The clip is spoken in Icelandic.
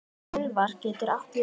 Úlfar getur átt við